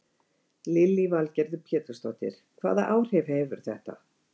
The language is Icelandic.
Lillý Valgerður Pétursdóttir: Hvaða áhrif hefur þetta?